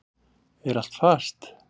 Er allt fast?